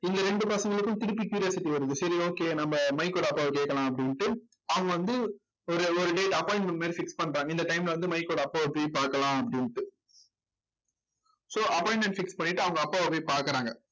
இந்த ரெண்டு பசங்களுக்கு திருப்பி curiosity வருது சரி okay நம்ம மைக்கோட அப்பாவை கேட்கலாம் அப்படின்ட்டு அவங்க வந்து ஒரு ஒரு date appointment மாதிரி fix பண்றாங்க இந்த time ல வந்து மைக்கோட அப்பாவை போய் பார்க்கலாம் அப்படின்னுட்டு so appointment fix பண்ணிட்டு அவங்க அப்பாவை போய் பார்க்குறாங்க